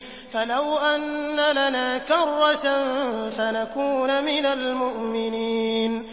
فَلَوْ أَنَّ لَنَا كَرَّةً فَنَكُونَ مِنَ الْمُؤْمِنِينَ